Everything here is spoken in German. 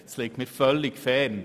dies liegt mir völlig fern.